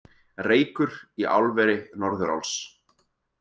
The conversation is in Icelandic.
Reykur í álveri Norðuráls